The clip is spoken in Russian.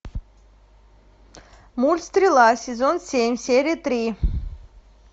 мульт стрела сезон семь серия три